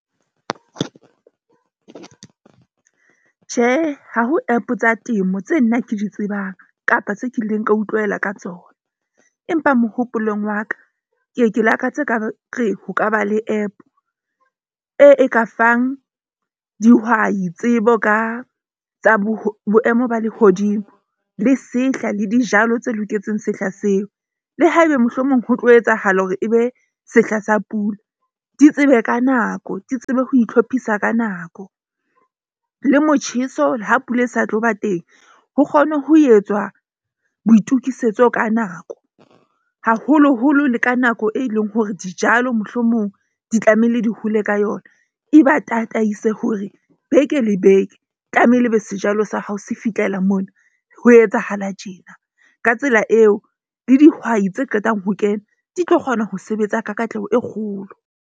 Tjhe, ha ho app tsa temo tse nna ke di tsebang kapa tse kileng ka utlwela ka tsona. Empa mohopolong wa ka ke ye, ke lakatse e ka re ho kaba le app e e ka fang dihwai, tsebo ka tsa boemo ba lehodimo le sehla le dijalo tse loketseng sehla seo. Le haebe mohlomong ho tlo etsahala hore ebe sehla sa pula, di tsebe ka nako, ke tsebe ho itlhophisa ka nako. Le motjheso ha pula e sa tlo ba teng. Ho kgone ho etswa boitukisetso ka nako, haholoholo le ka nako e leng hore dijalo mohlomong di tlamehile di hole ka yona. E ba tataise hore beke le beke tlameile ebe sejalo sa hao se fihlela mona, ho etsahala tjena ka tsela eo, le dihwai tse qetang ho kena di tlo kgona ho sebetsa ka katleho e kgolo.